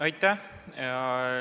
Aitäh!